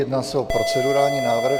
Jedná se o procedurální návrh.